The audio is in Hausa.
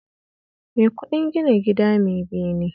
Mai kuɗin gina gida mai bene